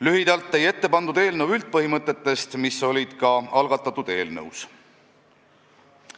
Lühidalt teie ette pandud eelnõu üldpõhimõtetest, mis olid ka algatatud eelnõus.